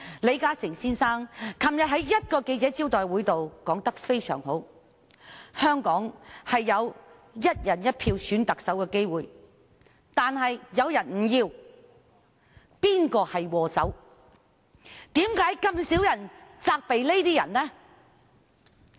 李嘉誠先生昨天在一個記者招待會上說得非常好，他指香港原本有機會"一人一票"選特首，但有些人卻拒絕；他聲言要找出禍首。